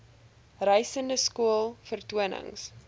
reisende skool vertonings